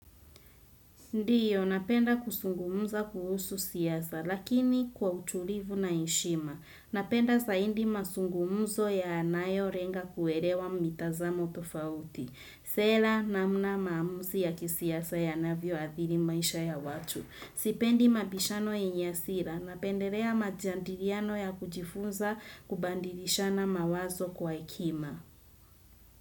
Ndiyo, napenda kusungumza kuhusu siasa, lakini kwa utulivu na heshima. Napenda zaidi masungumzo yanayolenga kuelewa mitazamo tofauti. Sela namna maamuzi ya kisiasa yanavyo athiri maisha ya watu. Sipendi mabishano yenye hasira, napendelea majandiliano ya kujifunza kubadilishana mawazo kwa hekima.